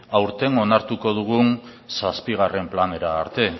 aurten onartuko dugun zazpigarren planera arte